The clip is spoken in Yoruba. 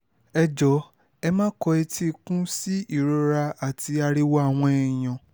ẹ jọ̀ọ́ ẹ má kọ etí ikún sí ìrora àti ariwo àwọn èèyàn